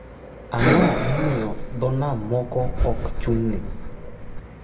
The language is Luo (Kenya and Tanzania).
Ang’o momiyo port moko ok ochung’ne?